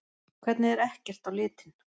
Hvernig er ekkert á litinn?